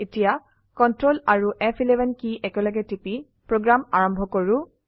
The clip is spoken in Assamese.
এতিয়া কন্ট্ৰল আৰু ফ11 কি একেলগেটিপি প্ৰোগ্ৰাম আৰম্ভ কৰো